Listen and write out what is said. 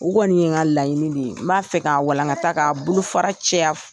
O kɔni ye n ka laɲini de ye n m'a fɛ k' a walankata k'a bolofara caya.